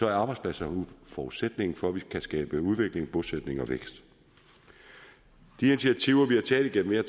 er arbejdspladserne forudsætningen for at vi kan skabe udvikling bosætning og vækst de initiativer vi har taget igennem mere